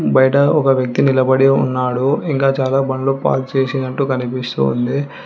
బయట ఒక వ్యక్తి నిలబడే ఉన్నాడు ఇంకా చాలా బండ్లు పార్క్ చేసి అంటూ కనిపిస్తోంది.